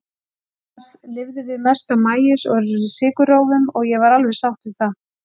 Annars lifðum við mest á maís og sykurrófum, og ég var alveg sátt við það.